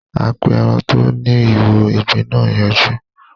A pé èràn tó ní ìwo ìgbín nà yọjú.